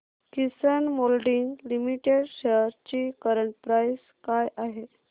किसान moulding limited shares ची current price काय आहे